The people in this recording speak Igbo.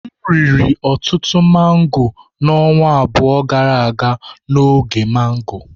M riri ọtụtụ mango na ọnwa abụọ gara aga n'oge mango.